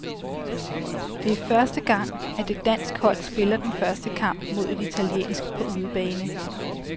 Det er første gang, at et dansk hold spiller den første kamp mod et italiensk på udebane.